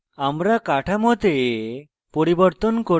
আমরা কাঠামোতে পরিবর্তন করতে পারি note